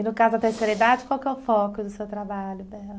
E no caso da terceira idade, qual que é o foco do seu trabalho, Bela?